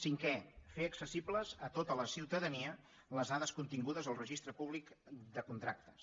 cinquè fer accessibles a tota la ciutadania les dades contingudes al registre públic de contractes